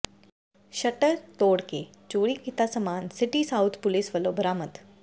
shutter ਤੋੜ ਕੇ ਚੋਰੀ ਕੀਤਾ ਸਾਮਾਨ ਸਿਟੀ ਸਾਊਥ ਪੁਲਿਸ ਵਲੋਂ ਬਰਾਮਦ